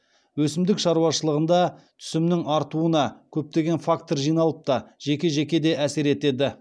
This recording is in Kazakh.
өсімдік шаруашылығында түсімнің артуына көптеген фактор жиналып та жеке жеке де әсер етеді